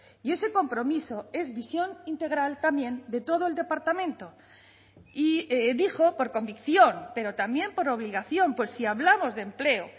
y ese compromiso es visión integral también de todo el departamento y dijo por convicción pero también por obligación pues si hablamos de empleo